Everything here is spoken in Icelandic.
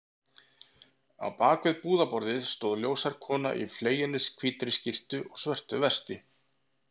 Á bak við búðarborðið stóð ljóshærð kona í fleginni hvítri skyrtu og svörtu vesti.